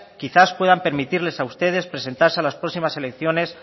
quizás puedan permitirles a ustedes presentarse a las próximas elecciones